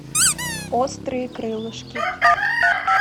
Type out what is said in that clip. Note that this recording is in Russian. острые крылышки